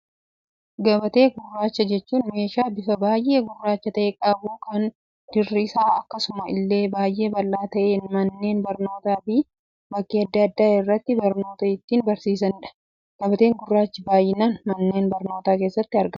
Gabatee gurraacha jechuun, meeshaa bifa baayyee gurraacha ta'e qabu, kan dirri isaa akkasuma illee baayyee bal'aa ta'ee, manneen barnootaa fi bakkee addaa addaa irratti barnoota ittiin barsiisanidha. Gabbateen gurraachi baayyinaan manneen barnootaa keessatti argamu.